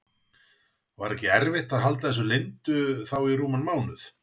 Var ekki erfitt að halda þessu leyndu þá í rúman mánuð?